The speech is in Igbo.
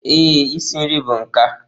Ee, isi nri bụ nka.